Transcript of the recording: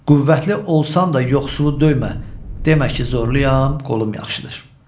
Qüvvətli olsan da yoxsulu döymə, demə ki, zorluyam, qolum yaxşıdır.